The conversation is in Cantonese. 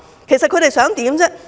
其實他們想怎樣呢？